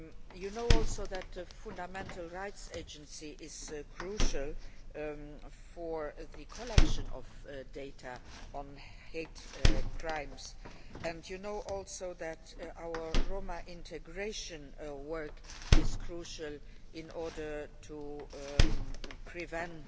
You know also that the Fundamental Rights Agency is crucial for the collection of data on hate crimes and that our Roma integration work is crucial in order to prevent